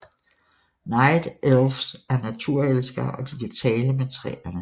Night Elfs er naturelskere og de kan tale med træerne